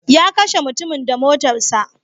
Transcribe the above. Ya kashe mutumin da motarsa ​​.